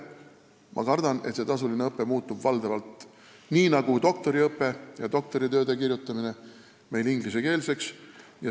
Ma kardan, et see tasuline õpe muutub valdavalt ingliskeelseks, nii nagu juba on doktoriõpe.